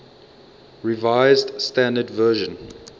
revised standard version